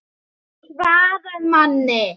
GETURÐU SVARAÐ MANNI!